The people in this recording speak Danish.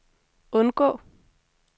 undgå